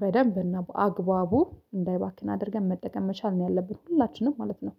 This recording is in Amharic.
በደንብ እና በአግባቡ እንዳይባክን አድርገን መጠቀም መቻል ነው ያለብን። ሁላችንም ማለት ነው